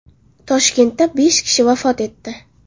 Toshkentda besh kishi vafot etdi.